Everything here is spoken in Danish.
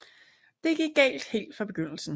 Det gik galt helt fra begyndelsen